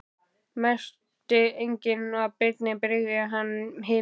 Merkti enginn að Birni brygði hið minnsta.